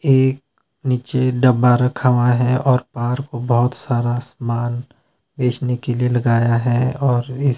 एक नीचे डब्बा रखा हुआ है और पार को बहोत सारा सामान बेचने के लिए लगाया है और इस--